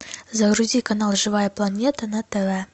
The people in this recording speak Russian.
загрузи канал живая планета на тв